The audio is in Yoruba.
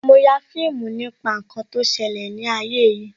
Mo ya fíìmù nípa ǹkan tó ṣẹlẹ̀ ni ayé yìí